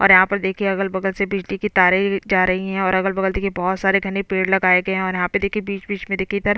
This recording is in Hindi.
और यहाँ पर देखिये अगल-बगल से बिजली की तारें जा रही है और अगल-बगल देखिये बहोत सारे घने पेड़ लगाए गए है और यहाँ पे देखिये बीच-बीच में देखिए इधर--